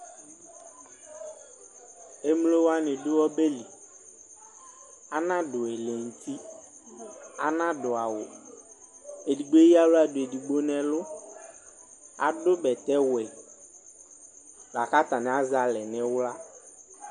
Emlo wani dʋ ɔbɛli Anaɖu ɛlɛŋtiAnadu awuEdigbo eyaɣla du edigbo nɛlʋAdʋ bɛtɛ wɛ lakatani asɛ alɛ niɣla